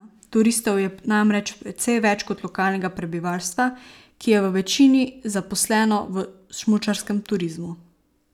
Turistov je namreč precej več kot lokalnega prebivalstva, ki je v večini zaposleno v smučarskem turizmu.